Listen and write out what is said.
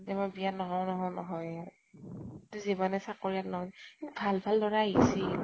যে মই বিয়া নহঁও নহঁও নহঁওৱে । যিমানেই চাকৰীয়াল নহঁক । কিন্তু ভাল ভাল লʼৰা আহিছিল